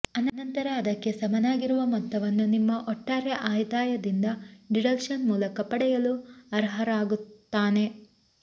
ಅನಂತರ ಅದಕ್ಕೆ ಸಮನಾಗಿರುವ ಮೊತ್ತವನ್ನು ನಿಮ್ಮ ಒಟ್ಟಾರೆ ಆದಾಯದಿಂದ ಡಿಡಕ್ಷನ್ ಮೂಲಕ ಪಡೆಯಲು ಅರ್ಹರಾಗುತ್ತಾನೆ